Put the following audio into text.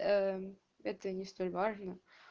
это не столь важно